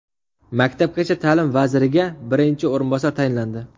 Maktabgacha ta’lim vaziriga birinchi o‘rinbosar tayinlandi.